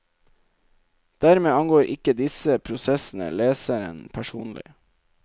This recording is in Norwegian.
Dermed angår ikke disse prosessene leseren personlig.